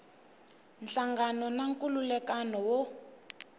nhlangano na nkhulukelano wa